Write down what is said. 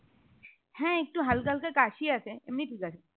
হ্যাঁ একটু হালকা হালকা কাশি আছে এমনি ঠিক আছে